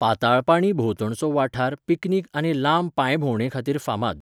पाताळपाणी भोंवतणचो वाठार पिकनिक आनी लांब पांयभोवंडेखातीर फामाद.